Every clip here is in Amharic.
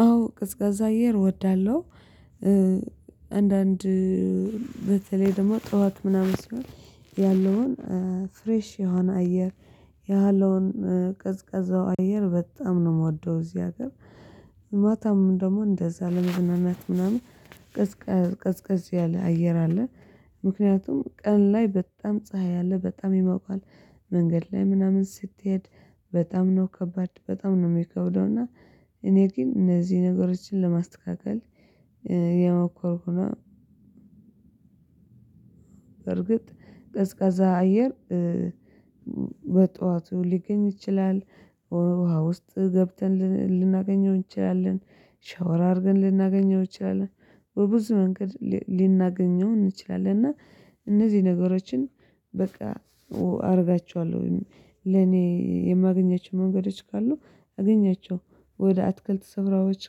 አዎ ቀዝቃዛ አየር እወዳለሁ። አንዳንድ በተለይ ደግሞ ጠዋት ምናምን ሲሆን ያለውን ፍሬሽ የሆነ አየር ያለውን ቀዝቃዛው አየር በጣም ነው የምወደው። እዚህ ሀገር ማታም ደግሞ እንደዛ ለመዝናናት ምናምን ቀዝቀዝ ቀዝቀዝ ያለ አየር አለ። ምክንያቱም ቀን ላይ በጣም ፀሀይ አለ በጣም ይሞቃል። መንገድ ላይ ምናምን ስትሄድ በጣም ነው ከባድ በጣም ነው የሚከብደው። እና እኔ ግን እነዚህ ነገሮችን ለማስተካከል እየሞከርኩ ነው። በርግጥ ቀዝቃዛ አየር በጧቱ ሊገኝ ይችላል። ውሃ ውስጥ ገብተን ልናገኘው እንችላለን ሻወር አድርገን ልናገኘው እንችላለን በብዙ መንገድ ልናገኘው እንችላለን። እና እነዚህ ነገሮችን በቃ አደርጋቸዋለሁ። ለኔ የማገኛቸው መንገዶች ካሉ አገኛቸው ወደ አትክልት ስፍራዎች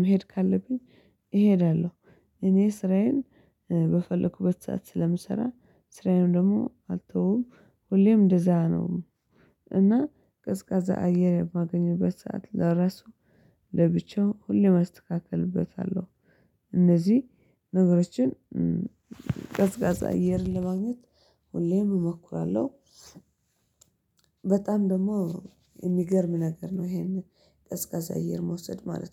መሄድ ካለብኝ እሄዳለሁ። እኔ ስራዬን በፈለኩበት ሰዓት ስለምሰራ ስራዬን ደግሞ አልተወውም። ሁሌም እንደዛ ነው። እና ቀዝቃዛ አየር የማገኝበት ሰዓት ለራሱ ለብቻው ሁሌም አስተካክልበታለሁ። እነዚህ ነገሮችን ቀዝቃዛ አየርን ለማግኘት ሁሌም እሞክራለሁ። በጣም ደግሞ የሚገርም ነገር ነው ይሄንን ቀዝቃዛ እየር መውሰድ ማለት ነው